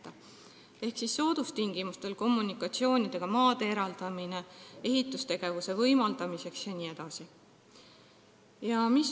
Võiks eraldada soodustingimustel kommunikatsioonidega maid ehitustegevuse võimaldamiseks jne.